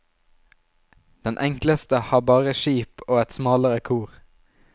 Den enkleste har bare skip og et smalere kor.